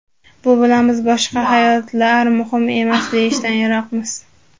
Bu bilan biz boshqa hayotlar muhim emas deyishdan yiroqmiz.